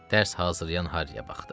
Dərs hazırlayan Harriyə baxdı.